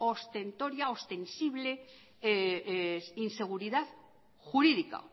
ostentoria ostensible inseguridad jurídica